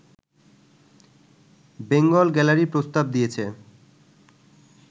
Bengal gallery প্রস্তাব দিয়েছে